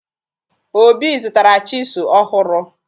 Obi zụtara chịsụ ọhụrụ